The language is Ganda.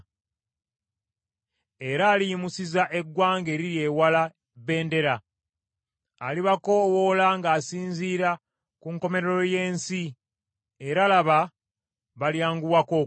Era aliyimusiza eggwanga eriri ewala bbendera, alibakoowoola ng’asinziira ku nkomerero y’ensi, era laba, balyanguwako okujja.